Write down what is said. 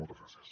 moltes gràcies